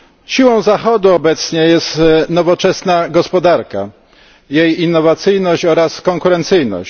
Siłą Zachodu obecnie jest nowoczesna gospodarka, jej innowacyjność oraz konkurencyjność.